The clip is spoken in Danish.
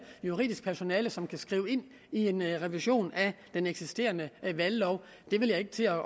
juridisk personale som kan skrive det ind i en revision af den eksisterende valglov jeg vil ikke til at